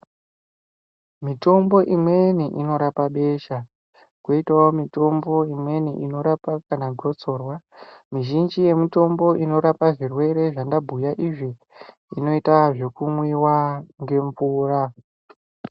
Mitombo imweni inorapa besha, kwoitawo mitombo imweni inorapa kana gotsorwa. Mizhinji yemitombo inorapa zvirwere zvandabhuya izvi inoita zvekumwiwa ngemvura.